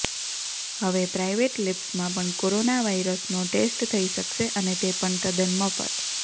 હવે પ્રાઈવેટ લેબ્સમાં પણ કોરોના વાયરસનો ટેસ્ટ થઈ શકશે અને તે પણ તદ્દન મફત